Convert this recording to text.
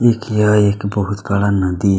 एक यह एक बहुत-बड़ा नदी --